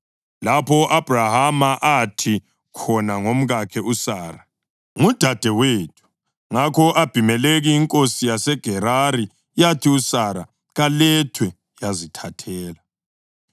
lapho u-Abhrahama athi khona ngomkakhe uSara, “Ngudadewethu.” Ngakho u-Abhimelekhi inkosi yaseGerari yathi uSara kalethwe, yazithathela.